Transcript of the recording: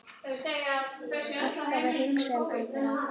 Alltaf að hugsa um aðra.